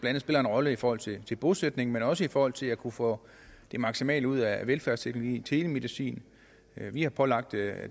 andet spiller en rolle i forhold til til bosætning men også i forhold til at kunne få det maksimale ud af velfærdsteknologi og telemedicin vi har pålagt at